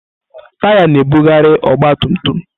Taya na-ebugharị ọgba tum tum.